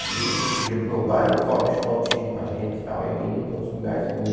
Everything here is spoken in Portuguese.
E eles pediam para o meu pai, deixa o Daltinho ir com a gente e tal, aí eu ia para outros lugares com eles.